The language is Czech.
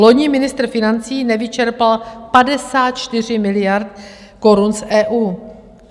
Loni ministr financí nevyčerpal 54 miliard korun z EU.